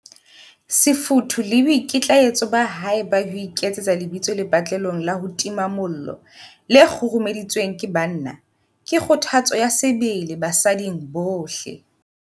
Sefutho le boikitlaetso ba hae ba ho iketsetsa lebitso lepatlelong la ho tima mollo le kgurumeditsweng ke banna, ke kgothatso ya sebele basading bohle.